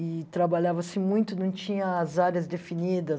E trabalhava-se muito, não tinha as áreas definidas.